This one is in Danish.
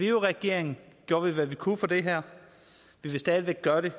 i regering gjorde vi hvad vi kunne for det her vi vil stadig væk gøre det